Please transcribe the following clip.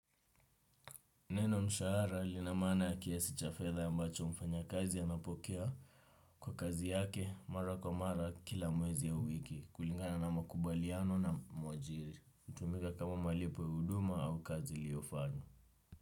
Neno mshahara lina maana ya kiasi cha fedha ambacho mfanya kazi anapokea kwa kazi yake mara kwa mara kila mwezi ya wiki kulingana na makubaliano na mwajiri. Hutumika kama malipo huduma au kazi iliyofanywa.